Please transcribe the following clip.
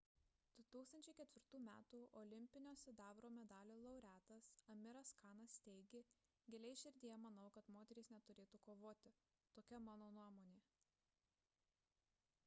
2004 m olimpinio sidabro medalio laureatas amiras kanas teigė giliai širdyje manau kad moterys neturėtų kovoti tokia mano nuomonė